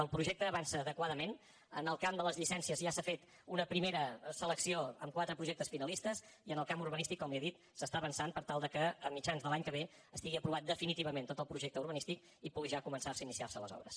el projecte avança adequadament en el camp de les llicències ja s’ha fet una primera selecció amb quatre projectes finalistes i en el camp urbanístic com li he dit s’està avançant per tal que a mitjan de l’any que ve estigui aprovat definitivament tot el projecte urbanístic i pugui ja començar a iniciar se les obres